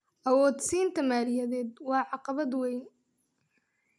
Awood-siinta maaliyadeed waa caqabad weyn.